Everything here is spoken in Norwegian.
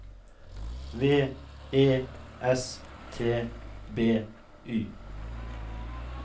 V E S T B Y